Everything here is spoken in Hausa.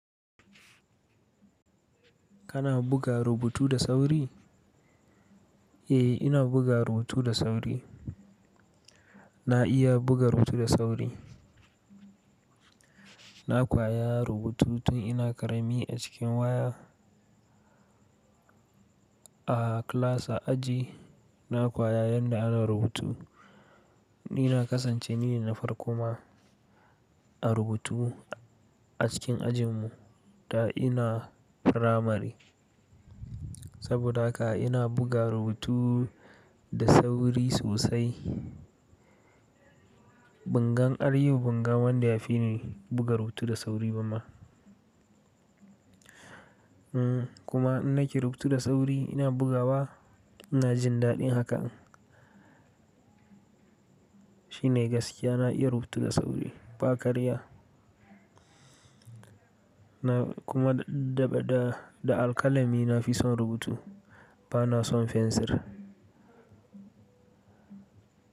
Kana buga rubutu da sauri? Eh, ina buga rubutu da sauri. Na iya buga rubutu da sauri. Na kwaya rubutu tun ina ƙarami a cikin waya. A class a aji na koya yadda ana rubutu. Ni na kasance ni ne na farko ma a rubutu a cikin ajin mu da ina primary. Saboda haka ina buga rubutu da sauri sosai. Bangan har yau bangan wanda ya fi ni buga rubutu da sauri ba ma. Hmm kuma in nake rubutu da sauri ina bugawa ina jin daɗin haka. Shi ne gaskiya na iya rubutu da sauri ba karya. Na kuma daga da, da alkalami na fi son rubutu bana son fensir.